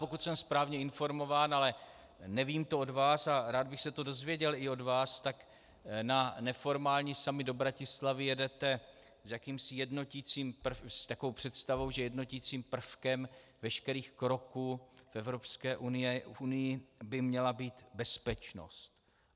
Pokud jsem správně informován, ale nevím to od vás a rád bych se to dozvěděl i od vás, tak na neformální summit do Bratislavy jedete s takovou představou, že jednoticím prvkem veškerých kroků v Evropské unii by měla být bezpečnost.